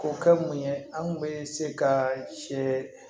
O kɛ mun ye an kun bɛ se ka sɛ